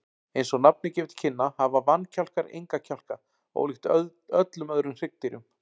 Eins og nafnið gefur til kynna hafa vankjálkar enga kjálka, ólíkt öllum öðrum hryggdýrum.